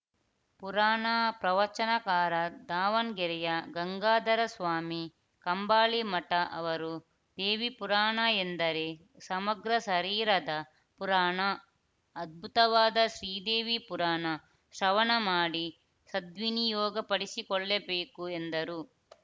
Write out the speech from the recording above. ಪುರಾಣ ಪ್ರವಚನಕಾರ ದಾವಣ್ ಗೆರೆಯ ಗಂಗಾಧರಸ್ವಾಮಿ ಕಂಬಾಳಿಮಠ ಅವರು ದೇವಿ ಪುರಾಣ ಎಂದರೆ ಸಮಗ್ರ ಶರೀರದ ಪುರಾಣ ಅದ್ಭುತವಾದ ಶ್ರೀದೇವಿ ಪುರಾಣ ಶ್ರವಣ ಮಾಡಿ ಸದ್ವಿನಿಯೋಗಪಡಿಸಿಕೊಳ್ಳಬೇಕು ಎಂದರು